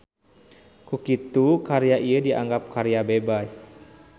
Kukitu karya ieu dianggap karya bebas